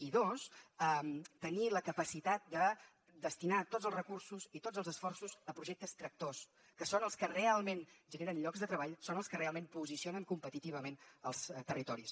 i dos tenir la capacitat de destinar tots els recursos i tots els esforços a projectes tractors que són els que realment generen llocs de treball són els que realment posicionen competitivament els territoris